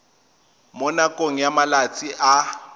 mo nakong ya malatsi a